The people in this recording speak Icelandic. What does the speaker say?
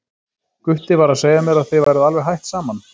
Gutti var að segja mér að þið væruð alveg hætt saman.